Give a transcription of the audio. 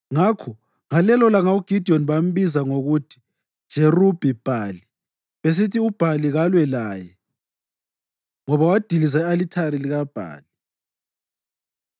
Ngakho ngalelolanga uGidiyoni bambiza ngokuthi “Jerubhi-Bhali,” besithi, “UBhali kalwe laye,” ngoba wadiliza i-alithari likaBhali.